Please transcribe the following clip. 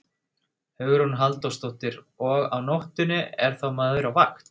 Hugrún Halldórsdóttir: Og á nóttunni, er þá maður á vakt?